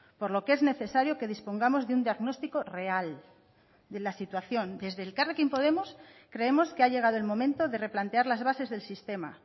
por lo que es necesario que dispongamos de un diagnóstico real de la situación desde elkarrekin podemos creemos que ha llegado el momento de replantear las bases del sistema